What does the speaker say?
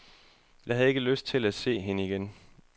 Jeg havde ikke lyst til at se hende igen.